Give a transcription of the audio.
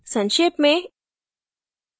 संक्षेप में